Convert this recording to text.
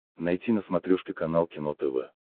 найти на смотрешке канал кино тв